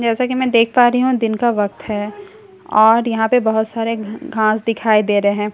जैसा कि मैं देख पा रही हूं दिन का वक्त है और यहां पे बहुत सारे घास दिखाई दे रहे हैं।